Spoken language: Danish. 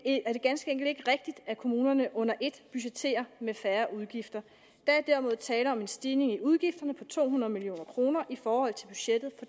ganske enkelt ikke rigtigt at kommunerne under et budgetterer med færre udgifter der er derimod tale om en stigning i udgifterne på to hundrede million kroner i forhold til budgettet